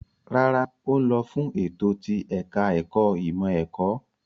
Rárá, ó ń lọ fún ètò ti ẹ̀ka-ẹ̀kọ́ ìmọ̀-ẹ̀kọ́.